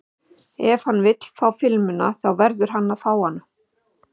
Ef hann vill fá filmuna þá verður hann að fá hana.